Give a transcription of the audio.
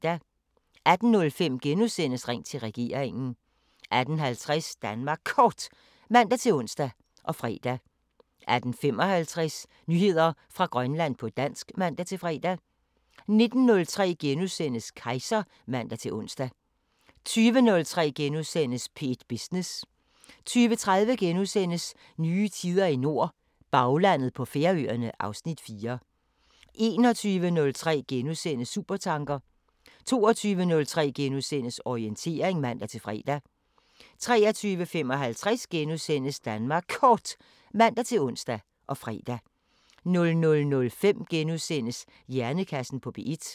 18:05: Ring til regeringen * 18:50: Danmark Kort (man-ons og fre) 18:55: Nyheder fra Grønland på dansk (man-fre) 19:03: Kejser *(man-ons) 20:03: P1 Business * 20:30: Nye tider i nord – Baglandet på Færøerne (Afs. 4)* 21:03: Supertanker * 22:03: Orientering *(man-fre) 23:55: Danmark Kort *(man-ons og fre) 00:05: Hjernekassen på P1 *